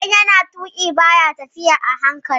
Idan yana tuƙi ba ya tafiya a hankali